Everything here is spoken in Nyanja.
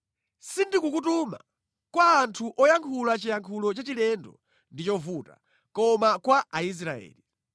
Sindikukutuma kwa anthu oyankhula chiyankhulo chachilendo ndi chovuta, koma kwa Aisraeli.